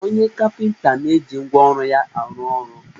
Onye kapịnta na-eji ngwa ọrụ ya arụ ọrọ